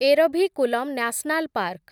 Eravikulam national park